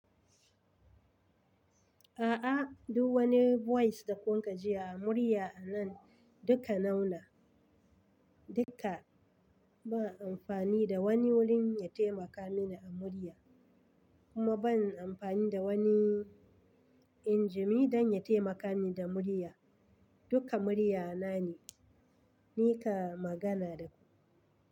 A'a, duk wani voice da kun kajiya a murya a nan duka nau na. Duka ban amfani da wani wurin ya taimaka mini a murya kuma ban amfani da wani injimi don ya taimaka min da murya. Duka murya na ne, ni ka magana da ku.